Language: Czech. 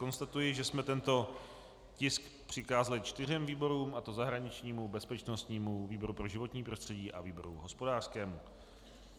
Konstatuji, že jsme tento tisk přikázali čtyřem výborům, a to zahraničnímu, bezpečnostnímu, výboru pro životní prostředí a výboru hospodářskému.